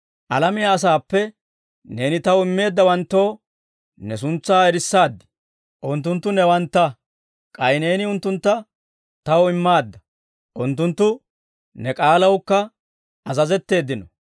«Alamiyaa asaappe neeni Taw immeeddawanttoo ne suntsaa erissaad; unttunttu newantta; k'ay neeni unttuntta Taw immaadda. Unttunttu ne k'aalawukka azazetteeddino.